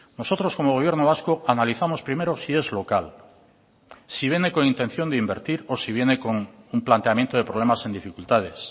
nosotros como gobierno vasco analizamos primero si es local si viene con intención de invertir o si viene con un planteamiento de problemas en dificultades